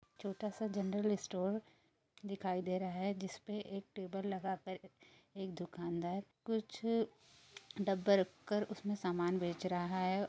छोटा सा general store दिकाही दे रहा है जिसपे एक टेबल लगा कर एक दुकानदार कुछ डब्बे रख कर उसमे सामान बेच रहा है।